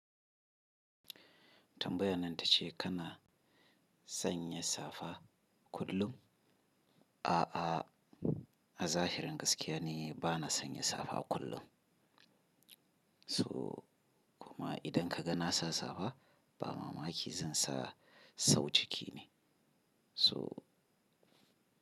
Tambayan nan ta ce kana sanya safa kullum? A'a, a zahirin gaskiya ne bana sanya safa kullum. So kuma idan ka ga na sa safa ba mamaki zan sa, sau ciki ne. So.